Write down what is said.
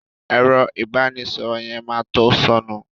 Ẹ̀rọ ìbánísọ̀rọ̀ yẹn ma to sọnù